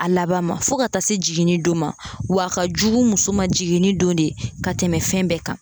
A laban ma fɔ ka taa se jiginni don ma w'a ka jugu muso ma jiginni don de ka tɛmɛ fɛn bɛɛ kan